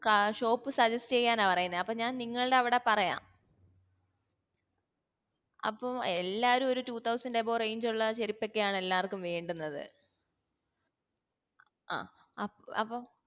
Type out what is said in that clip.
ആ shop suggest ചെയ്യാനാ പറയുന്നേ അപ്പൊ ഞാൻ നിങ്ങൾടെ അവിടെ പറയാം അപ്പം എ എല്ലാരും ഒരു two thousand above range ഉള്ള ചെരുപ്പൊക്കെ ആണ് എല്ലാര്ക്കും വേണ്ടുന്നത്